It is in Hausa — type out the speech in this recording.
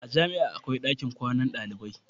a jami'a akwai ɗakin kwana na ɗalibai